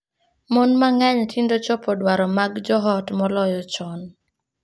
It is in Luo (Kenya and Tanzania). Mon mang'eny tinde chopo dwaro mag joot moloyo chon.